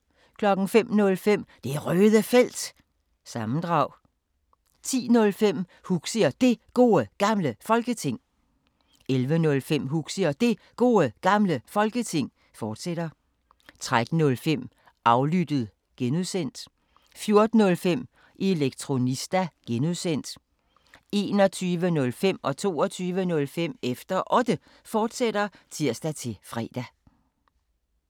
05:05: Det Røde Felt – sammendrag 10:05: Huxi og Det Gode Gamle Folketing 11:05: Huxi og Det Gode Gamle Folketing, fortsat 13:05: Aflyttet (G) 14:05: Elektronista (G) 21:05: Efter Otte, fortsat (tir-fre) 22:05: Efter Otte, fortsat (tir-fre)